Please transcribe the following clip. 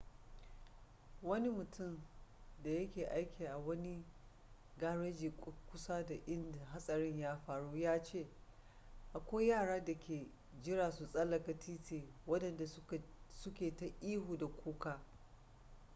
wani mutum da ya ke aiki a wani gareji kusa da inda hatsarin ya faru ya ce akwai yara da ke jiran su tsallaka titi wadanda su ke ta ihu da kuka